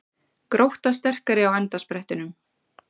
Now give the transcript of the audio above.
Grótta sterkari á endasprettinum